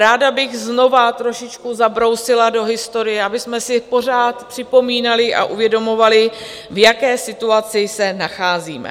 Ráda bych znovu trošičku zabrousila do historie, abychom si pořád připomínali a uvědomovali, v jaké situaci se nacházíme.